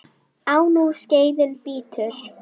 Á nú skeiðin bítur.